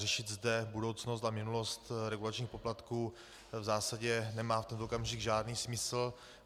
Řešit zde budoucnost a minulost regulačních poplatků v zásadě nemá v tento okamžik žádný smysl.